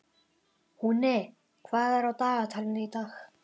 Húni, hvað er á dagatalinu í dag?